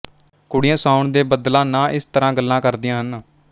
ਕੁੜੀਆਂ ਸਾਉਣ ਦੇ ਬੱਦਲਾਂ ਨਾ ਇਸ ਤਰ੍ਹਾਂ ਗੱਲਾਂ ਕਰਦੀਆਂ ਹਨ